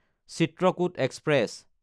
Chitrakoot express